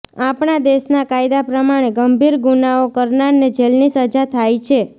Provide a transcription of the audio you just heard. આપણાં દેશનાં કાયદા પ્રમાણે ગંભીર ગુનાઓ કરનારને જેલની સજા થાય છે